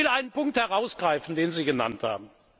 haben. Ich will einen Punkt herausgreifen, den Sie genannt